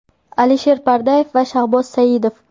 Alisher Pardayev va Shahboz Saidov.